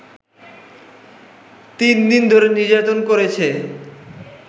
তিন দিন ধরে নির্যাতন করেছে